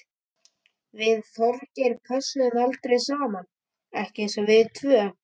Við Þorgeir pössuðum aldrei saman, ekki eins og við tvö.